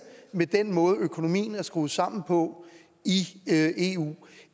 med den måde økonomien er skruet sammen på i eu